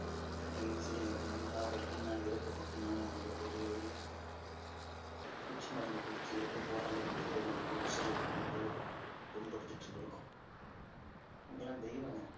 கடைசியில என்னதான் வழின்னா இறப்பு மட்டும் தாங்க அவங்களோட ஒரே வழியா இருக்கு பூச்சி மருந்து குடிச்சு இறந்து போற அளவுக்கு நம்ம விவசாயிகள் வந்து புண்படுத்திட்டு இருந்திருக்கோம். அவங்க எல்லாம் தெய்வங்க